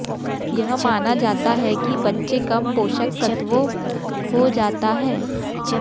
यह माना जाता है कि बच्चे कम पोषक तत्वों हो जाता है